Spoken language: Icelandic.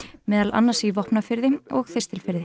meðal annars í Vopnafirði og Þistilfirði